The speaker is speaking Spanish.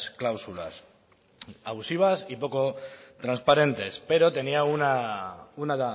cláusulas abusivas y poco transparentes pero tenían una